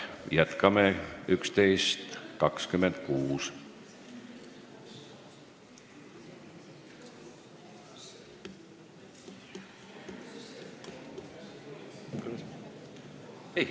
Jätkame kell 11.26.